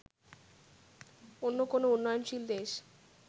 অন্য কোনও উন্নয়নশীল দেশ